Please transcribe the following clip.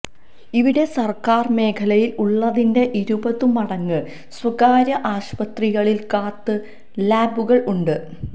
ഇവിടെ സര്ക്കാര് മേഖലയില് ഉള്ളതിന്റെ ഇരുപതുമടങ്ങു സ്വകാര്യ ആശുപത്രികളില് കാത്ത് ലാബുകള് ഉണ്ട്